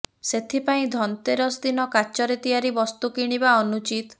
ସେଥିପାଇଁ ଧନତେରସ ଦିନ କାଚରେ ତିଆରି ବସ୍ତୁ କିଣିବା ଅନୁଚିତ